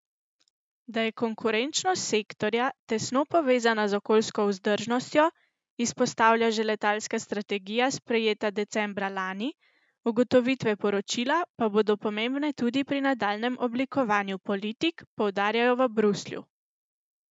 Da je konkurenčnost sektorja tesno povezana z okoljsko vzdržnostjo, izpostavlja že letalska strategija, sprejeta decembra lani, ugotovitve poročila pa bodo pomembne tudi pri nadaljnjem oblikovanju politik, poudarjajo v Bruslju.